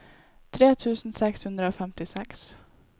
tre tusen seks hundre og femtiseks